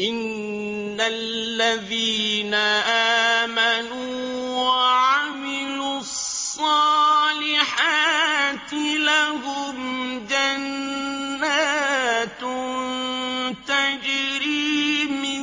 إِنَّ الَّذِينَ آمَنُوا وَعَمِلُوا الصَّالِحَاتِ لَهُمْ جَنَّاتٌ تَجْرِي مِن